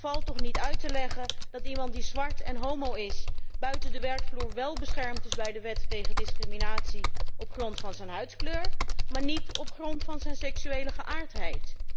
Het valt niet uit te leggen dat iemand die zwart en homo is, buiten de werkvloer wél beschermd is bij de wet tegen discriminatie op grond van zijn huidskleur, maar niet op grond van zijn seksuele geaardheid.